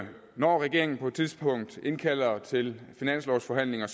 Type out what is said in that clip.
når regeringen på et tidspunkt indkalder til finanslovsforhandlinger